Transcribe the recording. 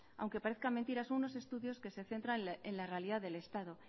aunque parezca mentira son unos estudios que se centran en la realidad del estado